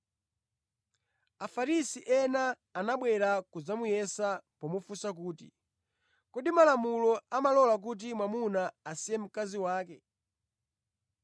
Afarisi ena anabwera kudzamuyesa pomufunsa kuti, “Kodi malamulo amalola kuti mwamuna asiye mkazi wake?”